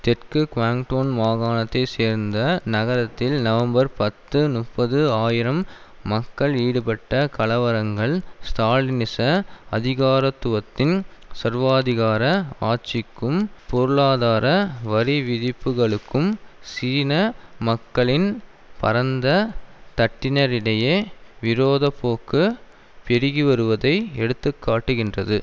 தெற்கு குவாங்டொங் மாகாணத்தைச்சேர்ந்த நகரத்தில் நவம்பர் பத்து நுப்பது ஆயிரம் மக்கள் ஈடுபட்ட கலவரங்கள் ஸ்ராலினிச அதிகாரத்துவத்தின் சர்வாதிகார ஆட்சிக்கும் பொருளாதார வரிவிதிப்புகளுக்கும் சீன மக்களின் பரந்த தட்டினரிடையே விரோத போக்கு பெருகிவருவதை எடுத்து காட்டுகின்றது